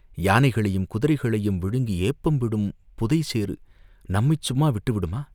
யானைகளையும் குதிரைகளையும் விழுங்கி ஏப்பம் விடும் புதை சேறு நம்மைச் சும்மா விட்டு விடுமா!